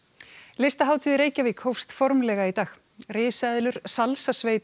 listahátíð í Reykjavík hófst formlega í dag risaeðlur